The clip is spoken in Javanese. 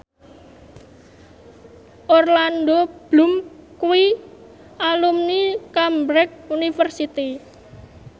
Orlando Bloom kuwi alumni Cambridge University